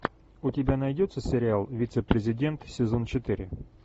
у тебя найдется сериал вице президент сезон четыре